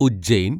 Ujjain